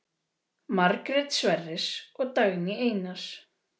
Margrét Sverris og Dagný Einars.